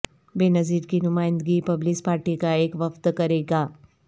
بینظیر کی نمائندگی پیپلز پارٹی کا ایک وفد کرے گا